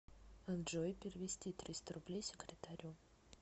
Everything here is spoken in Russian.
джой перевести триста рублей секретарю